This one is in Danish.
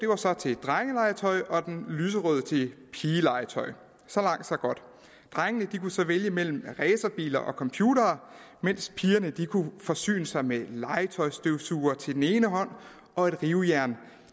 var så til drengelegetøj og den lyserøde til pigelegetøj så langt så godt drengene kunne så vælge mellem racerbiler og computere mens pigerne kunne forsyne sig med legetøjsstøvsugere til den ene hånd og et rivejern